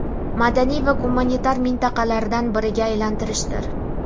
madaniy va gumanitar mintaqalaridan biriga aylantirishdir.